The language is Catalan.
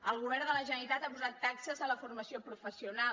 el govern de la generalitat ha posat taxes a la formació professional